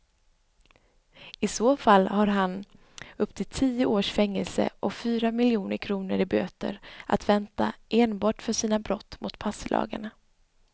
I så fall har han upp till tio års fängelse och fyra miljoner kronor i böter att vänta enbart för sina brott mot passlagarna.